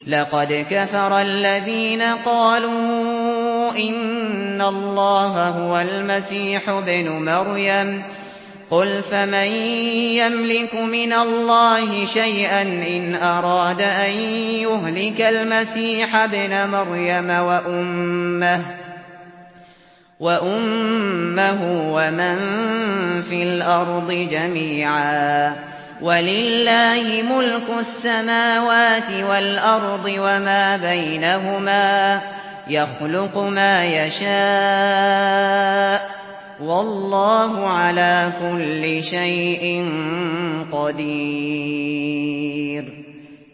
لَّقَدْ كَفَرَ الَّذِينَ قَالُوا إِنَّ اللَّهَ هُوَ الْمَسِيحُ ابْنُ مَرْيَمَ ۚ قُلْ فَمَن يَمْلِكُ مِنَ اللَّهِ شَيْئًا إِنْ أَرَادَ أَن يُهْلِكَ الْمَسِيحَ ابْنَ مَرْيَمَ وَأُمَّهُ وَمَن فِي الْأَرْضِ جَمِيعًا ۗ وَلِلَّهِ مُلْكُ السَّمَاوَاتِ وَالْأَرْضِ وَمَا بَيْنَهُمَا ۚ يَخْلُقُ مَا يَشَاءُ ۚ وَاللَّهُ عَلَىٰ كُلِّ شَيْءٍ قَدِيرٌ